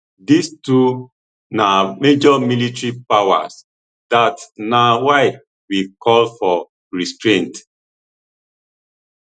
dis two na major military powers dat na why we call for restraint